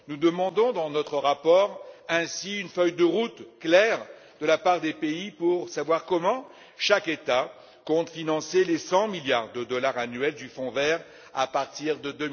Nous demandons l'élaboration d'une feuille de route claire de la part des États pour savoir comment chacun d'eux compte financer les 100 milliards de dollars annuels du Fonds vert à partir de